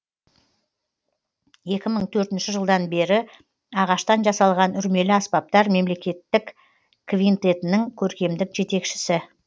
екі мың төртінші жылдан бері ағаштан жасалған үрмелі аспаптар мемлекеттік квинтетінің көркемдік жетекшісі